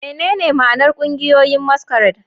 Menene ma'anar ƙungiyoyin masquerade?